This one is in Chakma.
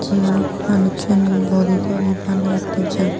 iyot manussuney body todi banebattey jaan.